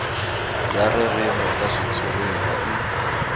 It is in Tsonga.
ya ririmi eka xitshuriwa i